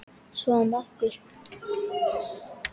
Og svo var um okkur.